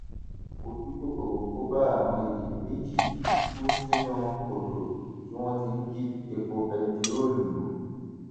ojú kòkòrò kò bá àwọn èèyàn méjì kú sínú kòtò tí wọn ti ń jí epo bẹntiróòlù bù